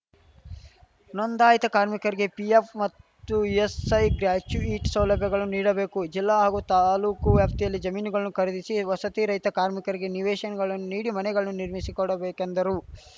ನೋಂದಾಯಿತ ಕಾರ್ಮಿಕರಿಗೆ ಪಿಎಫ್‌ ಮತ್ತು ಇಎಸ್‌ಐ ಗ್ರ್ಯಾಚುಯಿಟ್ ಸೌಲಭ್ಯಗಳನ್ನು ನೀಡಬೇಕು ಜಿಲ್ಲಾ ಹಾಗೂ ತಾಲೂಕು ವ್ಯಾಪ್ತಿಯಲ್ಲಿ ಜಮೀನುಗಳನ್ನು ಖರೀದಿಸಿ ವಸತಿರಹಿತ ಕಾರ್ಮಿಕರಿಗೆ ನಿವೇಶನಗಳನ್ನು ನೀಡಿ ಮನೆಗಳನ್ನು ನಿರ್ಮಿಸಿ ಕೊಡಬೇಕೆಂದರು